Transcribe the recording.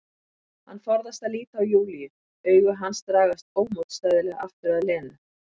Hann forðast að líta á Júlíu, augu hans dragast ómótstæðilega aftur að Lenu.